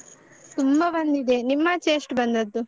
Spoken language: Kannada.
ತುಂಬ ಬಂದಿದೆ ನಿಮ್ಮಾಚೆ ಎಷ್ಟು ಬಂದದ್ದು?